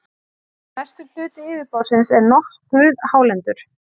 mestur hluti yfirborðsins er nokkuð hálendur